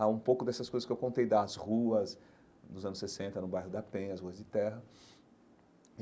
Há um pouco dessas coisas que eu contei, das ruas dos anos sessenta, no bairro da Penha, as ruas de terra.